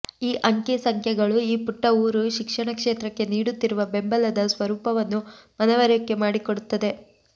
ಈ ಅಂಕಿ ಸಂಖ್ಯೆಗಳು ಈ ಪುಟ್ಟ ಊರು ಶಿಕ್ಷಣ ಕ್ಷೇತ್ರಕ್ಕೆ ನೀಡುತ್ತಿರುವ ಬೆಂಬಲದ ಸ್ವರೂಪವನ್ನು ಮನವರಿಕೆ ಮಾಡಿಕೊಡುತ್ತದೆ